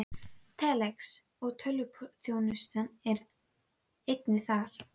Telex og tölvuþjónusta er einnig þar.